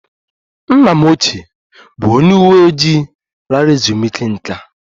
Nna m ochie bụ onye uwe ojii lara ezumike nká